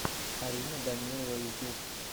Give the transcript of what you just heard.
арина данилова ютьюб